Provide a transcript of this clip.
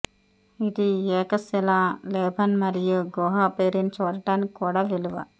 ఇది ఏకశిలా లే బాన్ మరియు గుహ పెర్రిన్ చూడటానికి కూడా విలువ